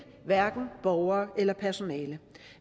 borgere eller personale